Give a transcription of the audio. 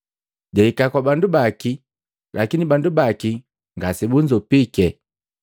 Jahika kwa bandu baki, lakini bandu baki ngasebunzopike.